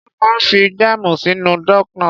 Wón máa ń fi jáàmù sínú doughnuts.